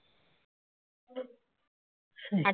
হুঁ